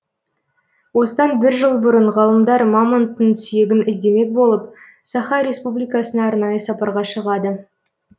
осыдан бір жыл бұрын ғалымдар мамонттың сүйегін іздемек болып саха республикасына арнайы сапарға шығады